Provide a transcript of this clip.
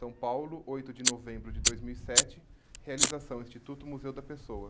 São Paulo, oito de novembro de dois mil e sete, realização Instituto Museu da Pessoa.